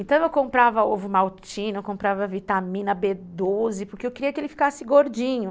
Então eu comprava ovomaltine, eu comprava vitamina bê doze, porque eu queria que ele ficasse gordinho.